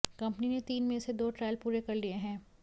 company ने तीन में से दो ट्रायल पूरे कर लिए हैं